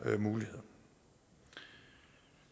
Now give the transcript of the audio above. muligheder